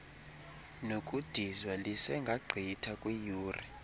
nokudizwa lisengagqitha kwiiyure